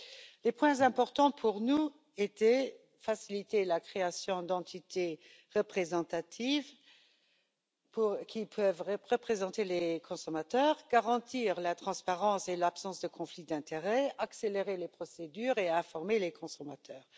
Pour nous, les points importants étaient les suivants faciliter la création d'entités représentatives qui peuvent représenter les consommateurs, garantir la transparence et l'absence de conflits d'intérêts, accélérer les procédures et informer les consommateurs.